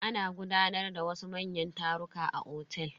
Ana gudanar da wasu manyan taruka a otel.